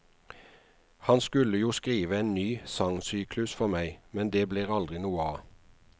Han skulle jo skrive en ny sangsyklus for meg, men det ble aldri noe av.